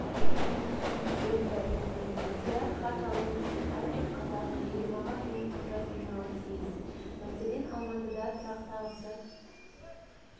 отыр ықтияр хат алу үшін әрбір қазақ жиырмаға жуық құжат жинауы тиіс мәселен алматыда тұрақтағысы